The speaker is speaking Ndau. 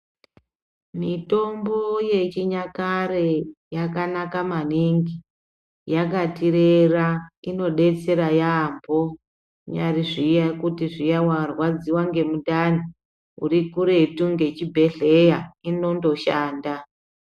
Mitombo yechinyakare yakanaka maningi yakatirera inodetsera yaambo kunyari kuti zviya warwadziwa ngemundani unyari kuretu nechibhedhlera inondoshanda.